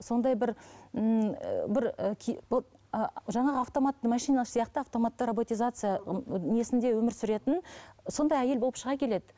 сондай бір ммм і бір жаңағы автоматты машина сияқты автоматты роботизация несінде өмір сүретін сондай әйел болып шыға келеді